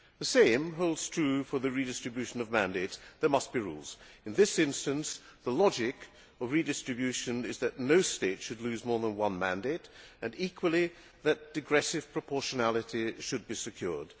The same holds true for the redistribution of mandates. There must be rules. In this instance, the logic of redistribution is that no state should lose more than one mandate and, equally, that digressive proportionality should be secured.